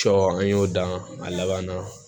Cɔ an y'o dan a laban na